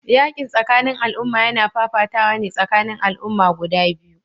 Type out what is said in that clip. Yakin tsakanin al'umma yana fafatawa ne tsakanin al'umma guda biyu